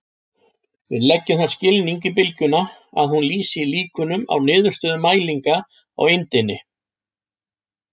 Við leggjum þann skilning í bylgjuna að hún lýsi líkunum á niðurstöðum mælinga á eindinni.